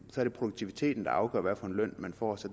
er det produktiviteten der afgør hvad for en løn man får